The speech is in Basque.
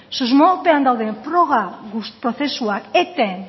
susmopean dauden froga prozesuak eten